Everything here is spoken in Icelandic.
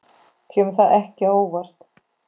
Kemur það ekki á óvart.